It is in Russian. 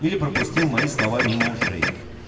или пропустил мои слова мимо ушей